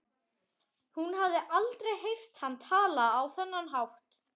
Hún hafði aldrei heyrt hann tala á þennan hátt.